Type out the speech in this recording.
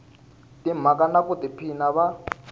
timhaka na ku tiphina va